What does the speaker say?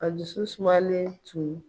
A dusu sumalen tun